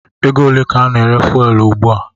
Ego ole ka a na-ere Fuwelu ùgbúà?